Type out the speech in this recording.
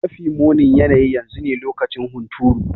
Mafi munin yanayi yanzu ne lokacin hunturu.